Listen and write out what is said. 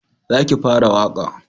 Za ki fara waƙa!